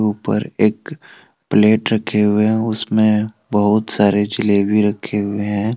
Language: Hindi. ऊपर एक प्लेट रखे हुए हैं और उसमें बहुत सारे जलेबी रखे हुए हैं।